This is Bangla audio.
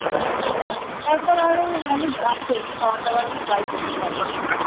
তারপর আরো অনেক আছে খাওয়ার দাওয়ার তুই try করতে পারিস ।